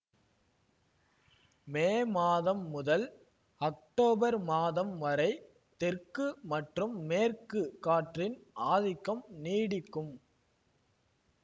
மே மாதம் முதல் அக்டோபர் மாதம் வரை தெற்கு மற்றும் மேற்கு காற்றின் ஆதிக்கம் நீடிக்கும்